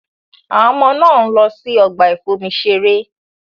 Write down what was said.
Àwọn ọmọ náà ń lọ sí ọgbà ìfomi-ṣeré.